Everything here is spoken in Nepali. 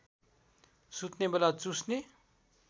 सुत्ने बेला चुस्ने